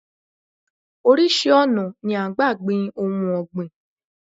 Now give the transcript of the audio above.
Orísìí ọ̀nà ni à ń gbà gbin ohun ọ̀gbìn